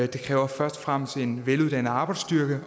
det kræver først og fremmest en veluddannet arbejdsstyrke